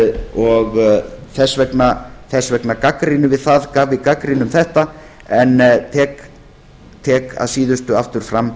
og þess vegna gagnrýnum við þetta en tek að síðustu aftur fram